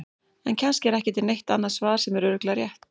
En kannski er ekki til neitt annað svar sem er örugglega rétt.